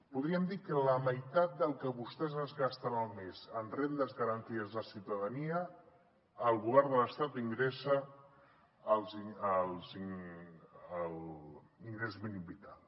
podríem dir que la meitat del que vostès es gasten al mes en rendes garantides de ciutadania el govern de l’estat ingressa l’ingrés mínim vital